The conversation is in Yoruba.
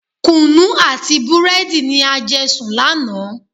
Kunu àti búrẹ́dì ni a jẹ sùn lánàá.